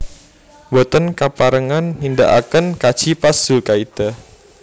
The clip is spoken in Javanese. Mboten kaparengan nindaaken kaji pas zulkaidah